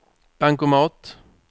bankomat